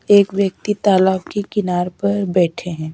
एक व्यक्ति तालाब के किनार पर बैठे हैं।